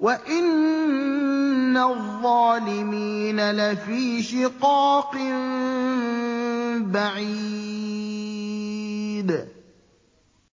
وَإِنَّ الظَّالِمِينَ لَفِي شِقَاقٍ بَعِيدٍ